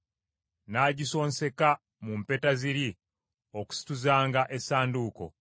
n’agisonseka mu mpeta ziri okusituzanga essanduuko.